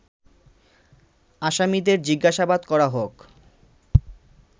আসামিদের জিজ্ঞাসাবাদ করা হোক